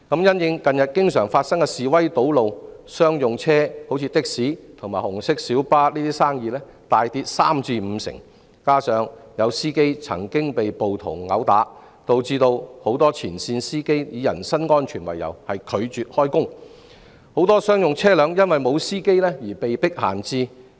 因應近日經常發生的示威堵路，商用車輛如的士和紅色小巴等的生意大跌三至五成，再加上有司機曾被暴徒毆打，導致很多前線司機以人身安全為由拒絕開工，很多商用車輛因司機不足而被迫閒置。